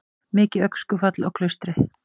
Mikið öskufall á Klaustri